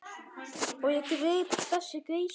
Og ég greip þessa geisla.